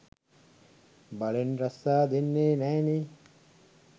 බලෙන් රස්සා දෙන්නේ නැනේ.